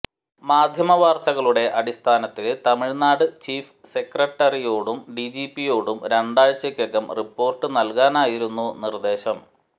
മാധ്യമ വാർത്തകളുടെ അടിസ്ഥാനത്തില് തമിഴ്നാട് ചീഫ് സെക്രട്ടറിയോടും ഡിജിപിയോടും രണ്ടാഴ്ചക്കകം റിപ്പോർട്ട് നൽകാനായിരുന്നു നിർദ്ദേശം